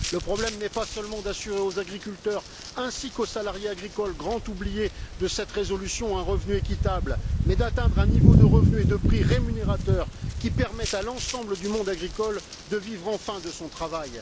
Le problème n'est pas seulement d'assurer aux agriculteurs ainsi qu'aux salariés agricoles, grands oubliés de cette résolution, un revenu équitable, mais d'atteindre un niveau de revenu et de prix rémunérateur, qui permette à l'ensemble du monde agricole de vivre enfin de son travail.